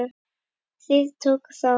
Þrír tóku þátt.